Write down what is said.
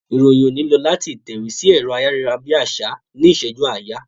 Ìròyìn òní ń lọ láti ìtẹ̀wé sí ẹ̀rọ ayárabíàṣá ní ìṣẹ́jú àáyá.